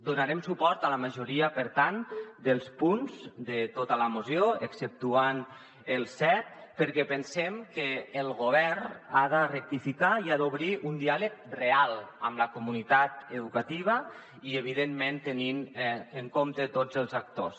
donarem suport a la majoria per tant dels punts de tota la moció exceptuant ne el set perquè pensem que el govern ha de rectificar i ha d’obrir un diàleg real amb la comunitat educativa i evidentment tenir ne en compte tots els actors